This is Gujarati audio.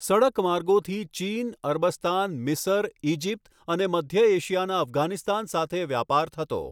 સડકમાર્ગોથી ચીન, અરબસ્તાન, મિસર, ઈજીપ્ત અને મધ્ય એશિયાના અફઘાનિસ્તાન સાથે વ્યાપાર થતો.